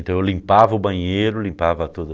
Então eu limpava o banheiro, limpava tudo.